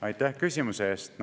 Aitäh küsimuse eest!